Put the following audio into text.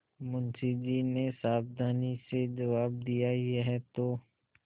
मुंशी जी ने सावधानी से जवाब दियायह तो